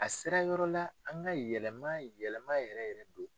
A sera yɔrɔ la an ka yɛlɛma yɛlɛma yɛrɛ yɛrɛ de.